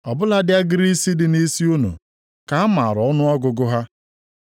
Ọ bụladị agịrị isi dị nʼisi unu ka a maara ọnụọgụgụ ha.